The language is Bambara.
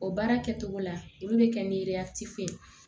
O baara kɛcogo la olu bɛ kɛ ni deya ci ye